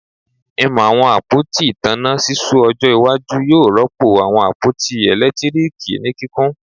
Im awọn apoti itanna ṣiṣu ojo iwaju yoo rọpo awọn apoti eletiriki irin ni kikun